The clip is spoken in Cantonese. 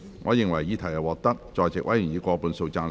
我認為議題獲得在席委員以過半數贊成。